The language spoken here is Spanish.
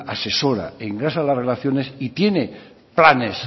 asesora engrasa las relaciones y tiene planes